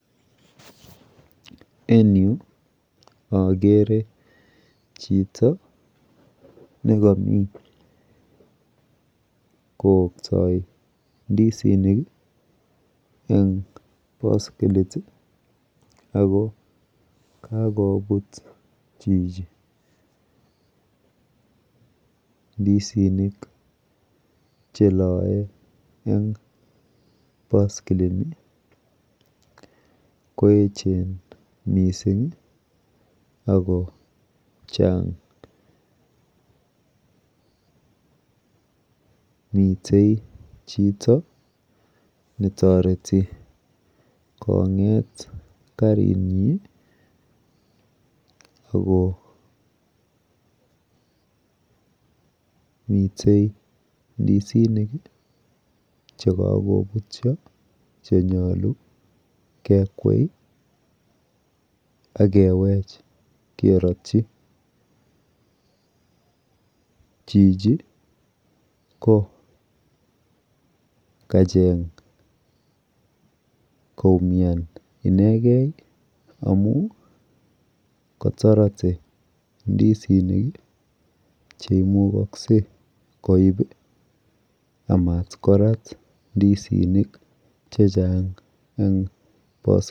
En Yu agere Chito nekami kotai indisinik en baiskelit ako kakobut Chichi ndisinik chelae en baskili Ni koyechen mising akochanga mitei Chito netareti konget karinyin ako akomiten indisinik chekakobutyo chenyalu kekwei akewech keratyi Chichi ko kacheng koumian inegen amun katarate cheimukakse koib amatkorat indisinik chechang en baiskelit